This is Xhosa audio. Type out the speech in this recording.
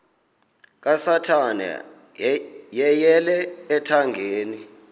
kasathana yeyele ethangeni